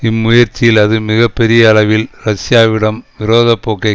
இம்முயற்சியில் அது மிக பெரிய அளவில் ரஷ்யாவிடம் விரோத போக்கை